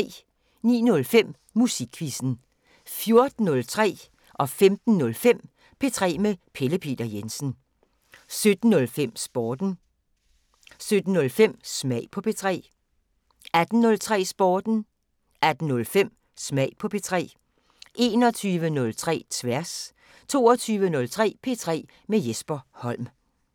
09:05: Musikquizzen 14:03: P3 med Pelle Peter Jensen 15:05: P3 med Pelle Peter Jensen 17:03: Sporten 17:05: Smag på P3 18:03: Sporten 18:05: Smag på P3 21:03: Tværs 22:03: P3 med Jesper Holm